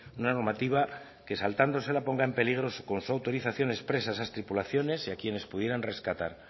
una normativa que saltándosela ponga en peligro con su autorización expresa a esas tripulaciones y a quienes pudieran rescatar